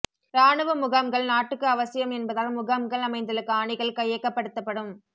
இராணுவ முகாம்கள் நாட்டுக்கு அவசியம் என்பதால் முகாம்கள் அமைந்துள்ள காணிகள் கையகப்படுத்தப்படும்